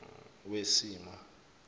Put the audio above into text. wesimo